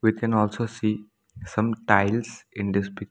We can also see some tiles in this picture.